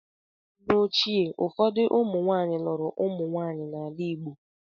N’oge ochie, ụfọdụ ụmụnwaanyị lụrụ ụmụnwaanyị n’ala Igbo.